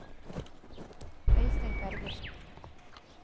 Øystein Bergersen